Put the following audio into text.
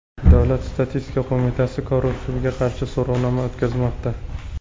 Davlat statistika qo‘mitasi korrupsiyaga qarshi so‘rovnoma o‘tkazmoqda.